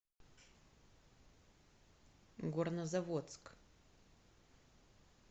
горнозаводск